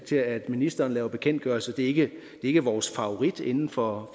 til at ministeren laver bekendtgørelser at det ikke er vores favorit inden for